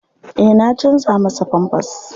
Eh na canja masa famfas.